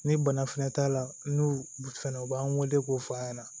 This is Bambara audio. Ni bana fɛnɛ t'a la n'u fɛnɛ u b'an weele k'o f'a ɲɛna